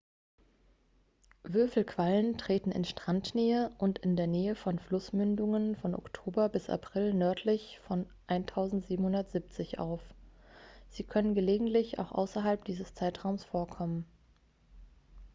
würfelquallen treten in strandnähe und in der nähe von flussmündungen von oktober bis april nördlich von 1770 auf sie können gelegentlich auch außerhalb dieses zeitraums vorkommen